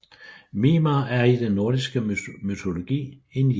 Mimer er i den nordiske mytologi en jætte